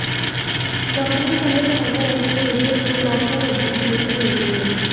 company समय समय पर अपने यूजर्स को सॉफ्टवेयर अपडेट देती रहती है